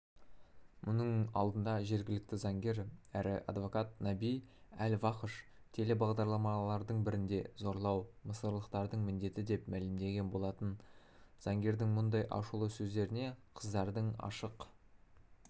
мұның алдындажергілікті заңгер әрі адвокат наби әл-вахш телебағдарламалардың бірінде зорлау мысырлықтардың міндеті деп мәлімдеген болатын заңгердің мұндай ашулы сөздеріне қыздардың ашық